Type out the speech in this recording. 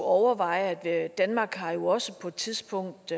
overveje at danmark jo også på et tidspunkt